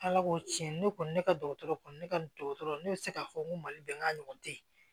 Ala ko tiɲɛ ne kɔni ne ka dɔgɔtɔrɔ kɔni ne ka dɔgɔtɔrɔ ne bɛ se k'a fɔ n ko mali bɛnka ɲɔgɔn tɛ yen